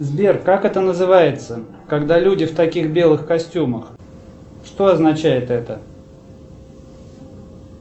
сбер как это называется когда люди в таких белых костюмах что означает это